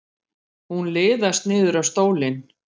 Hún liðast niður á stólinn.